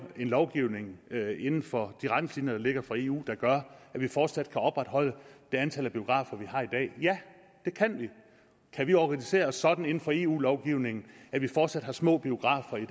en lovgivning inden for de retningslinjer der ligger fra eus side der gør at vi fortsat kan opretholde det antal biografer vi har i dag ja det kan vi kan vi organisere os sådan inden for eu lovgivningen at vi fortsat har små biografer i